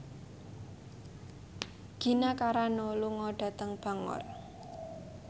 Gina Carano lunga dhateng Bangor